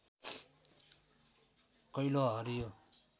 कैलो हरियो